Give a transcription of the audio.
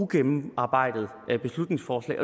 gennemarbejdet beslutningsforslag